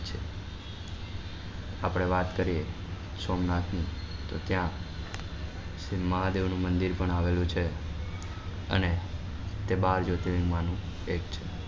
આપડે વાત કરીએ સોમનાથ ની તો ત્યાં મહાદેવ નું મંદિર પણ આવેલું છે અને તે મહાન જ્યોતિલિંગ માનું એક છે.